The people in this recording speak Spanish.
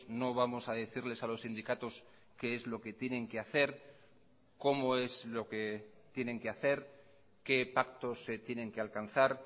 no vamos a decirles a los sindicatos qué es lo que tienen que hacer cómo es lo que tienen que hacer qué pactos se tienen que alcanzar